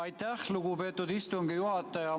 Aitäh, lugupeetud istungi juhataja!